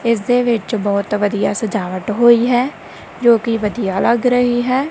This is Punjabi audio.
ਇਸੇ ਵਿੱਚ ਬਹੁਤ ਵਧੀਆ ਸਜਾਵਟ ਹੋਈ ਹੈ ਜੋ ਕਿ ਵਧੀਆ ਲੱਗ ਰਹੀ ਹੈ।